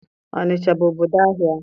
Ọnịcha bụ obodo ahịa.